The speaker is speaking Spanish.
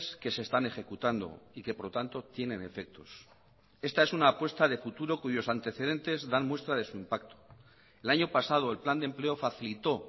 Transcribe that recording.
que se están ejecutando y que por lo tanto tienen efectos esta es una apuesta de futuro cuyos antecedentes dan muestra de su impacto el año pasado el plan de empleo facilitó